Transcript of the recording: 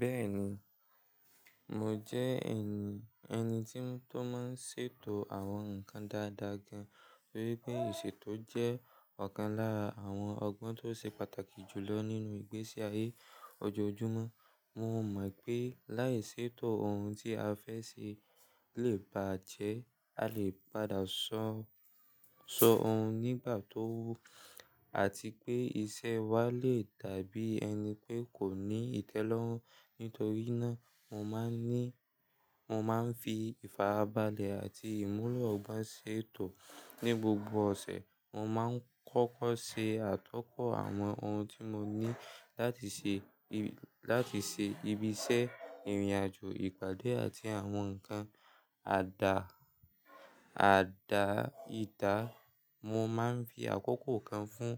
Bẹ́ẹ̀ni, mo jẹ́ ẹni tí ó máa ń ṣètò àwọn nǹkan dáadáa gan-an torí pé ìṣètò jẹ́ ọ̀kan lára àwọn ọgbọ́n tó ṣe pàtàkì jù lọ nínú ìgbésí ayé ọjóojúmọ́. Mo mọ̀ pé láì ṣètò ohun tí a fẹ́ ṣe lè bàjẹ́, a lè padà sọhun, sọ ohun nígbà tó wù àti pé iṣẹ́ wa lè dàbí ẹni pé kò ní ìtẹ́lọ́rùn. Nítorí náà, mo máa ni, mo máa ń fi ìfarabalẹ̀ àti ìmúlò n ba ṣètò ní gbogbo ọ̀sẹ̀. Mo máa ń kọ́kọ́ ṣe àtọkọ̀ àwọn ohun tí mo ní láti ṣe, láti ṣe ibi iṣẹ́, ìrìnàjò, ìpàdé àti àwọn nǹkan àdà ìdá. Mo máa ń fi àkókò kan fún